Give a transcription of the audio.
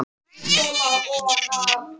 Það er alltaf verið að skipta um plötur á fóninum.